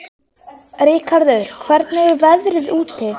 Ríkharður, hvernig er veðrið úti?